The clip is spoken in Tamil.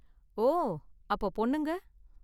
ஓ, அப்போ பொண்ணுங்க?